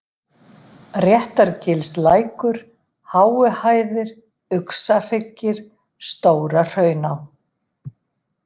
Réttargilslækur, Háuhæðir, Uxahryggir, Stóra-Hrauná